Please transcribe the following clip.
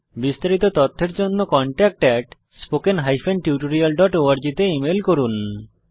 বিস্তারিত তথ্যের জন্য contactspoken tutorialorg তে ইমেল করুন